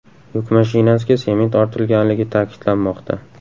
Yuk mashinasiga sement ortilganligi ta’kidlanmoqda.